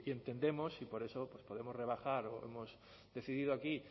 entendemos y por eso podemos rebajar o hemos decidido aquí